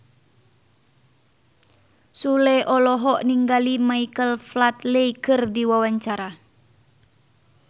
Sule olohok ningali Michael Flatley keur diwawancara